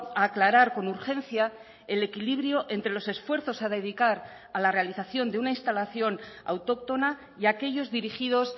a aclarar con urgencia el equilibrio entre los esfuerzos a dedicar a la realización de una instalación autóctona y aquellos dirigidos